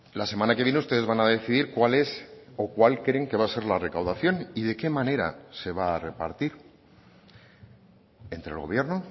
la semana que viene ustedes van a decidir cuál es o cuál creen que va a ser la recaudación y de qué manera se va a repartir entre el gobierno